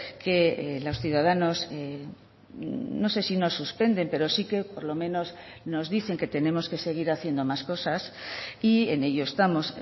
que los ciudadanos no sé si nos suspenden pero sí que por lo menos nos dicen que tenemos que seguir haciendo más cosas y en ello estamos